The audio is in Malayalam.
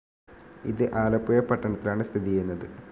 ഇത് ആലപ്പുഴ പട്ടണത്തിലാണ് സ്ഥിതി ചെയ്യുന്നത്.